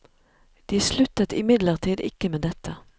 De sluttet imidlertid ikke med dette.